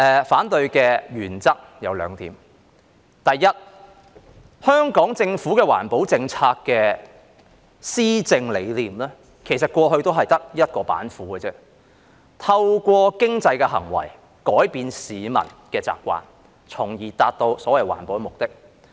反對的原則有兩點，第一，香港政府的環保政策的施政理念，其實過去只有一道板斧，也就是透過經濟行為改變市民的習慣，從而達到所謂環保的目的。